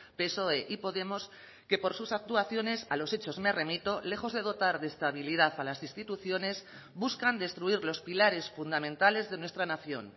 psoe y podemos que por sus actuaciones a los hechos me remito lejos de dotar de estabilidad a las instituciones buscan destruir los pilares fundamentales de nuestra nación